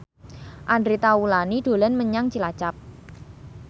Andre Taulany dolan menyang Cilacap